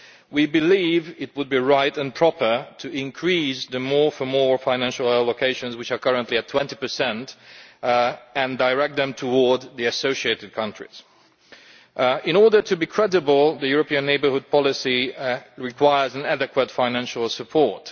We believe it would be right and proper to increase the more for more financial allocations which are currently at 20 and direct them towards the associated countries. In order to be credible, the European neighbourhood policy requires proper financial support.